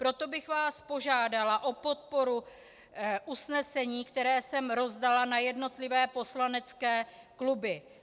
Proto bych vás požádala o podporu usnesení, které jsem rozdala na jednotlivé poslanecké kluby.